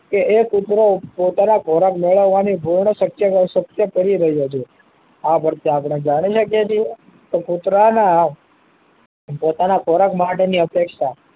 કે એ કુતરો પોતાનો ખોરાક મેળવવા ની પૂર્ણ કરી રહ્યો છે આં પર થી આપડે જાણી શકીએ છીએ કે કુતરા ના પોતાના ખોરાક માટે ની અપેક્ષા